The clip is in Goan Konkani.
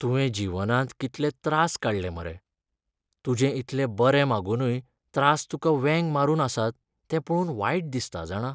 तुवें जीवनांत कितलें त्रास काडलें मरे, तुजें इतले बरें मागुनूय त्रास तुका वेंग मारून आसात ते पळोवन वायट दिसता जाणा.